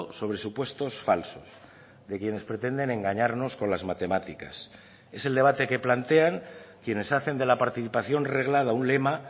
sobre supuestos falsos de quienes pretenden engañarnos con las matemáticas es el debate que plantean quienes hacen de la participación reglada un lema